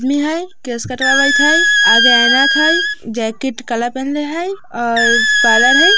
आदमी हई। केस कटववियत हई। आगे ऐनक हई। जेकट काला पेहनले हई। और पार्लर हई |